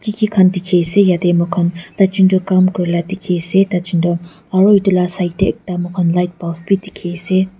dikhiase yatae moikhan taijun tu kam kurila dikhiase taijun toh aro edu la side tae ekta moikhan light bulb bi dikhiase.